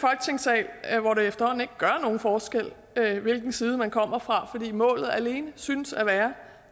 er hvor det efterhånden ikke gør nogen forskel hvilken side man kommer fra fordi målet alene synes at være